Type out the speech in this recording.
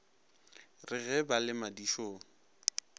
re ge ba le madišong